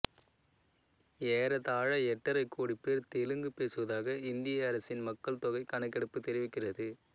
ஏறத்தாழ எட்டரை கோடி பேர் தெலுங்கு பேசுவதாக இந்திய அரசின் மக்கள்தொகைக் கணக்கெடுப்பு தெரிவிக்கிறது